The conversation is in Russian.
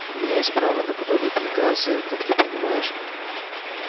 у меня есть право на подобные приказы как ты понимаешь